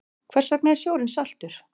Hvers vegna er sjórinn saltur?